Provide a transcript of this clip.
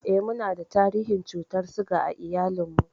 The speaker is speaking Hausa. Eh, munada tarihin cutar siga a iyalinmu.